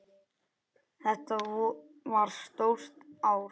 Þetta var stórt ár.